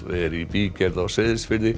er í bígerð á Seyðisfirði